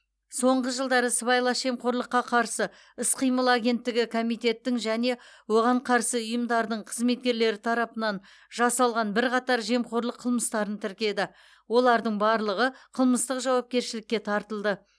соңғы жылдары сыбайлас жемқорлыққа қарсы іс қимыл агенттігі комитеттің және оған қарасты ұйымдардың қызметкерлері тарапынан жасалған бірқатар жемқорлық қылмыстарын тіркеді олардың барлығы қылмыстық жауапкершілікке тартылды